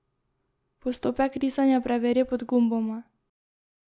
Postopek risanja preveri pod gumboma.